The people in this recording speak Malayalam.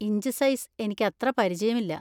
ഇഞ്ച് സൈസ് എനിക്കത്ര പരിചയമില്ല.